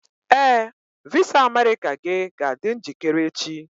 Ee, visa America gị ga-adị njikere echi.